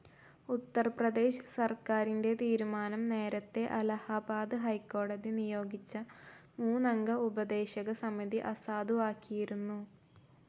ഉത്തർപ്രേദശ് സർക്കാരിന്റെ തീരുമാനം നേരത്തെ അലഹബാദ് ഹൈക്കോടതി നിയോഗിച്ച മൂന്നംഗ ഉപദേശക സമിതി അസാധുവാക്കിയിരുന്നു.